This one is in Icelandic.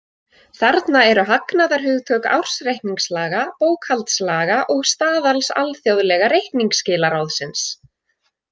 Þarna eru hagnaðarhugtök ársreikningslaga, bókhaldslaga og staðals alþjóðlega reikningsskilaráðsins.